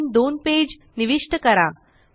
आणखीन दोन पेज निविष्ट करा